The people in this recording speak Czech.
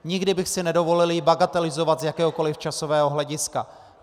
Nikdy bych si nedovolil ji bagatelizovat z jakéhokoliv časového hlediska.